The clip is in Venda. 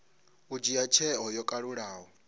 u dzhia tsheo yo kalulaho